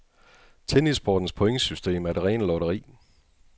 Tennissportens pointsystem er det rene lotteri.